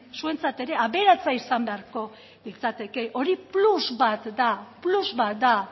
zuentzat ere aberatsa izan beharko litzateke hori plus bat da plus bat da